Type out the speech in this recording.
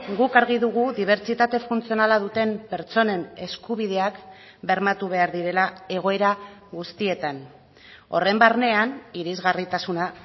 guk argi dugu dibertsitate funtzionala duten pertsonen eskubideak bermatu behar direla egoera guztietan horren barnean irisgarritasuna